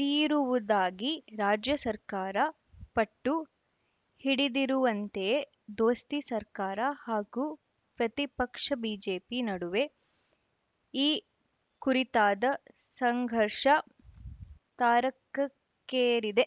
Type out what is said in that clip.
ತೀರುವುದಾಗಿ ರಾಜ್ಯ ಸರ್ಕಾರ ಪಟ್ಟು ಹಿಡಿದಿರುವಂತೆಯೇ ದೋಸ್ತಿ ಸರ್ಕಾರ ಹಾಗೂ ಪ್ರತಿಪಕ್ಷ ಬಿಜೆಪಿ ನಡುವೆ ಈ ಕುರಿತಾದ ಸಂಘರ್ಷ ತಾರಕಕ್ಕೇರಿದೆ